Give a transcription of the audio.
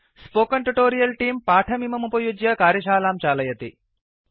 spoken tutorial तेऽं पाठमिममुपयुज्य कार्यशालां चालयति